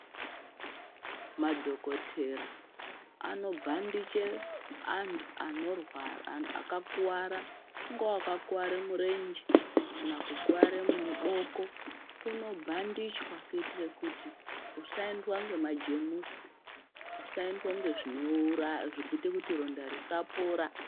Madhokotera anobhandiche antu akakuvara ungava wakakuvara murenje kana kukware muboko unobhandichwa kuitira kuti usaendwa nemajemusi usaenda nezviro zvinoita kuti ronda risapora.